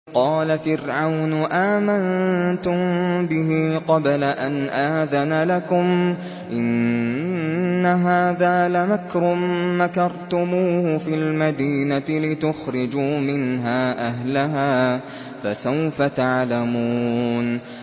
قَالَ فِرْعَوْنُ آمَنتُم بِهِ قَبْلَ أَنْ آذَنَ لَكُمْ ۖ إِنَّ هَٰذَا لَمَكْرٌ مَّكَرْتُمُوهُ فِي الْمَدِينَةِ لِتُخْرِجُوا مِنْهَا أَهْلَهَا ۖ فَسَوْفَ تَعْلَمُونَ